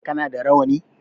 Kana da rawani?